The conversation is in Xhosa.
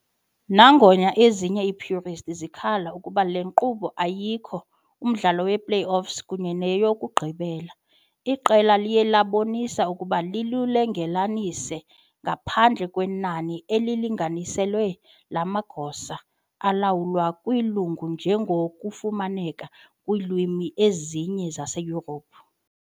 Nangona ezinye i-purist zikhalaza ukuba le nkqubo ayikho umdlalo we-playoffs kunye neyokugqibela, iqela liye labonisa ukuba lilungelelanise, ngaphandle kwenani elilinganiselwe lamagosa alawulwa kwilungu njengoko kufumaneka kwiilwimi ezininzi zaseYurophu.